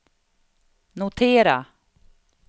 notera